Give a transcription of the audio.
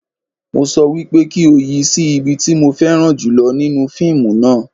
Mo sọ wípé kí o yi sí ibi tí mo fẹ́ran jùlọ nínú fíìmù náà